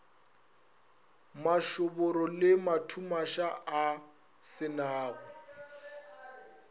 mašoboro le mathumaša a senago